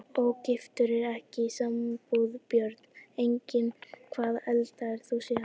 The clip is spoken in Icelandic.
Ógiftur og ekki í sambúð Börn: Engin Hvað eldaðir þú síðast?